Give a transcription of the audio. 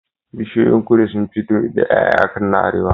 Bishiyoyin kudu sunfi fito da Yaya akan na arewa